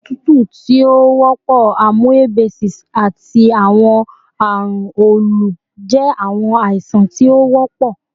otutu ti o wọpọ, amoebiasis, ati awọn arun olu jẹ awọn aisan ti o wọpọ